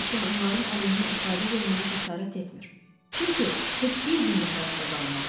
Heç kim onların əleyhinə ifadə verməyə cəsarət etmir, çünki heç bir gündə həyatda qalmazlar.